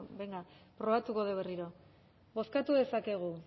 venga probatuko dugu berriro bozkatu dezakegu